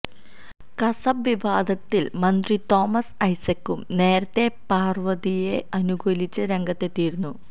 കസബ വിവാദത്തിൽ മന്ത്രി തോമസ് ഐസക്കും നേരത്തെ പാർവതിയെ അനുകൂലിച്ച് രംഗത്തെത്തിയിരുന്നു